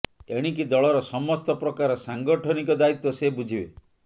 ଏଣିକି ଦଳର ସମସ୍ତ ପ୍ରକାର ସାଙ୍ଗଠନିକ ଦାୟିତ୍ୱ ସେ ବୁଝିବେ